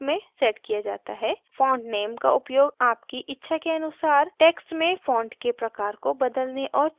font name का उपयोग आपकी इच्छा के अनुसार text में font के प्रकार को बदलने और चुनने के लिए किया जाता है